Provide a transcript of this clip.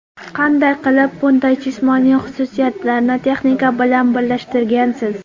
Qanday qilib bunday jismoniy xususiyatlarni texnika bilan birlashtirgansiz?